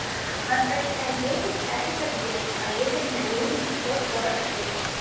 восточная девять пятый подъезд поедем на ленина сто сорок шесть